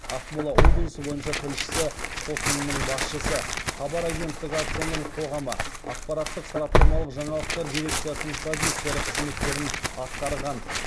ақмола облысы бойынша тілшісі қосынының басшысы хабар агенттігі акционерлік қоғамы ақпараттық сараптамалық жаңалықтар дирекциясының продюсері қызметтерін атқарған